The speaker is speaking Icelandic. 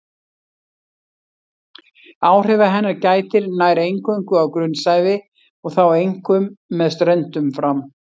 Áhrifa hennar gætir nær eingöngu á grunnsævi og þá einkum með ströndum fram.